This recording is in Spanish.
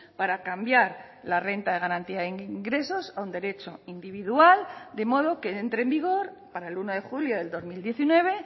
para cambiar la renta de garantía de ingresos a un derecho individual de modo que entre en vigor para el uno de julio del dos mil diecinueve